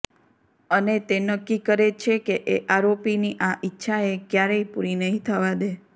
અને તે નક્કી કરે છેકે એ આરોપીની આ ઈચ્છા એ ક્યારેય પુરી નહી થવા દે